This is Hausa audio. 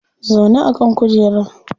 Zauna a kan kujera